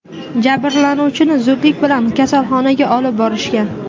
Jabrlanuvchini zudlik bilan kasalxonaga olib borishgan.